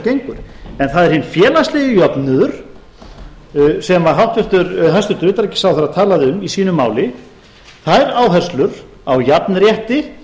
gengur en það er hinn félagslegi jöfnuður sem hæstvirtur utanríkisráðherra talaði um í sínu máli þær áherslur á jafnrétti